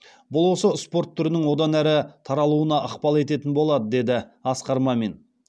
бұл осы спорт түрінің одан әрі таралуына ықпал ететін болады деді асқар мамин